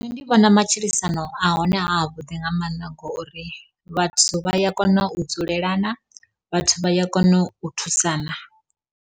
Nṋe ndi vhona matshilisano a hone a a vhuḓi, nga mannḓa ngori vhathu vha ya kona u dzulelana vhathu vha ya kona u thusana.